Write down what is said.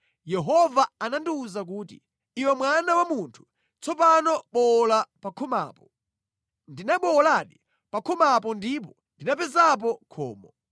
Yehova anandiwuza kuti, “Iwe mwana wa munthu, tsopano bowola pa khomapo.” Ndinabowoladi pa khomapo ndipo ndinapezapo khomo.